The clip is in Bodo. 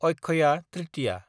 अक्षया ट्रिटिया